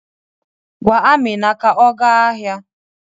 Gwa Amina ka ọ gaa ahịa.